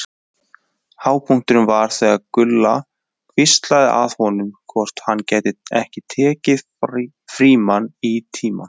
Hápunkturinn var þegar Gulla hvíslaði að honum hvort hann gæti ekki tekið Frímann í tíma.